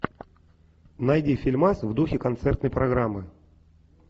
найди фильмас в духе концертной программы